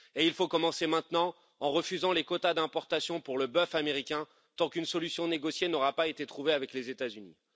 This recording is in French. Il faut commencer maintenant en refusant les quotas d'importation de bœuf américain, tant qu'une solution négociée n'aura pas été trouvée avec les États Unis.